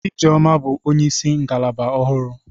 Ijeoma bụ onyeisi ngalaba ọhụrụ.